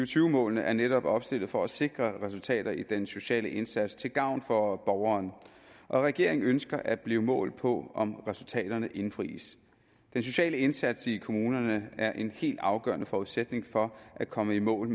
tyve målene er netop opstillet for at sikre resultater i den sociale indsats til gavn for borgeren og regeringen ønsker at blive målt på om resultaterne indfries den sociale indsats i kommunerne er en helt afgørende forudsætning for at komme i mål